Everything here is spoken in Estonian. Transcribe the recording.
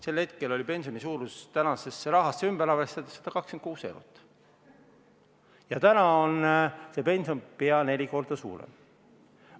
Sel hetkel oli pensioni suurus tänasesse rahasse ümber arvestades 126 eurot ja täna on pension pea neli korda suurem.